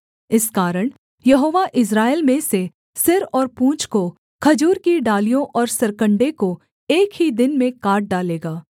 इस कारण यहोवा इस्राएल में से सिर और पूँछ को खजूर की डालियों और सरकण्डे को एक ही दिन में काट डालेगा